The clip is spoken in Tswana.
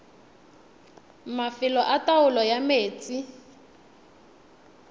mafelo a taolo ya metsi